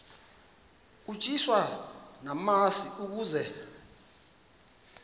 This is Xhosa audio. utyiswa namasi ukaze